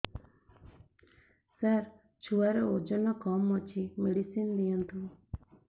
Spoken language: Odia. ସାର ଛୁଆର ଓଜନ କମ ଅଛି ମେଡିସିନ ଦିଅନ୍ତୁ